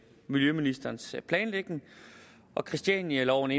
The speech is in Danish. miljøministerens planlægning christianialoven